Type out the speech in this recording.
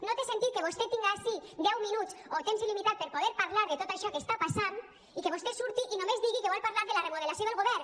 no té sentit que vostè tinga ací deu minuts o temps il·limitat per poder parlar de tot això que està passant i que vostè surti i només digui que vol par·lar de la remodelació del govern